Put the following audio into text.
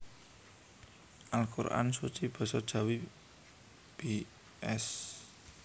Al Qur an Suci Basa Jawi bs